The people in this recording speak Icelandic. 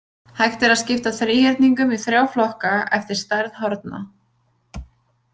Hægt er að skipta þríhyrningum í þrjá flokka eftir stærð horna.